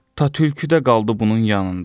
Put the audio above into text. Ta tülkü də qaldı bunun yanında.